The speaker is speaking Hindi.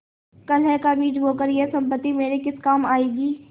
कलह का बीज बोकर यह सम्पत्ति मेरे किस काम आयेगी